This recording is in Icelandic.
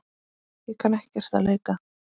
Ég kann ekkert að leika.